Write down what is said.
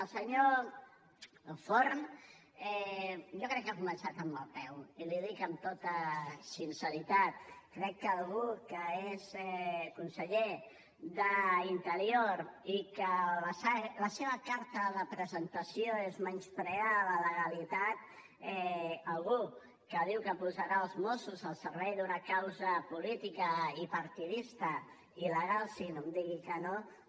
el senyor forn jo crec que ha començat amb mal peu i l’hi dic amb tota sinceritat crec que algú que és conseller d’interior i que la seva carta de presentació és menysprear la legalitat algú que diu que posarà els mossos al servei d’una causa política i partidista il·legal sí no em digui que no